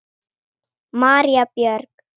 María Björg.